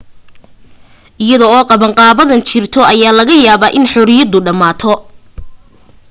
iyada oo qabanqaabadan jirto, ayaa laga yaabaa in xorriyadu dhammaato